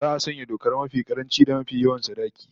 Za'a sanya dokar mafi karanci da mafi yawan sadaki